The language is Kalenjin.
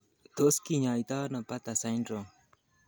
Tos kinyaita ono Bartter syndrome?